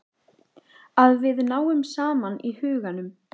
Að við náum saman í huganum.